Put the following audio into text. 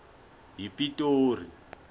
yipitori